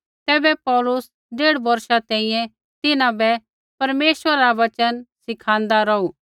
तैबै पौलुस डेढ़ बौर्षा तैंईंयैं तिन्हां बै परमेश्वरा रा वचन सिखाँदा रौहू